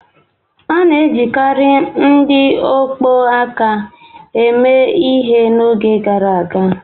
A na-ejikarị ndị ọkpọ aka eme ihe n'oge gara aga